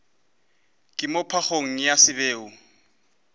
ka moo phagong ya seboi